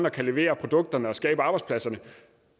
og kan levere produkterne og skabe arbejdspladserne